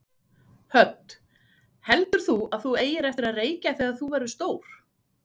Hödd: Heldur þú að þú eigir eftir að reykja þegar þú verður stór?